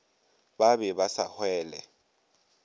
ba be ba sa hwele